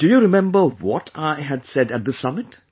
Do you remember what I had said at this summit